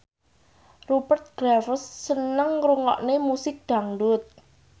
Rupert Graves seneng ngrungokne musik dangdut